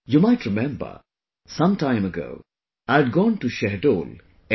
You might remember, sometime ago, I had gone to Shahdol, M